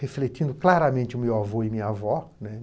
refletindo claramente o meu avô e minha avó, né.